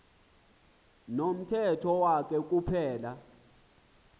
nomthetho wakhe kuphela